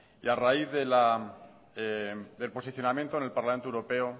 y a raíz del posicionamiento en el parlamento europeo